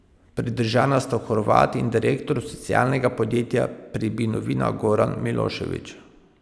Pridržana sta Horvat in direktor socialnega podjetja Pribinovina Goran Milošević.